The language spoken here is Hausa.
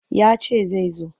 Ya ce zai zo.